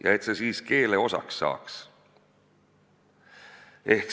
Ja et see siis ka keele osaks saaks.